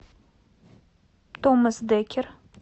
томас деккер